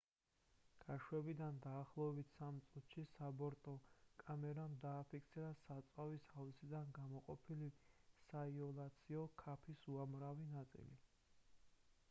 გაშვებიდან დაახლოებით 3 წუთში საბორტო კამერამ დააფიქსირა საწვავის ავზიდან გამოყოფილი საიოლაციო ქაფის უამრავი ნაწილი